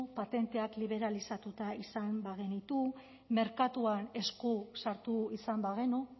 patenteak liberalizatuta izan bagenitu merkatuan esku sartu izan bagenu